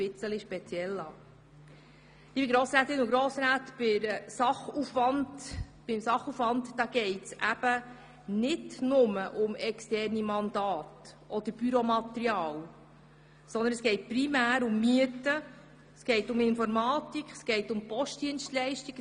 Liebe Grossrätinnen und Grossräte, beim Sachaufwand geht es eben nicht nur um externe Mandate oder um Büromaterial, sondern es geht primär um Mieten, um Informatik oder um Postdienstleistungen.